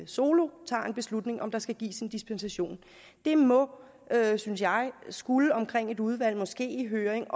solo tager en beslutning om om der skal gives en dispensation det må synes jeg skulle omkring et udvalg og måske en høring